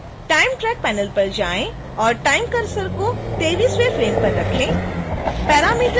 फिर time track panel पर जाएं और time cursor को 23वें फ्रेम पर रखें